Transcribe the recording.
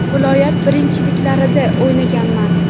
Viloyat birinchiliklarida o‘ynaganman.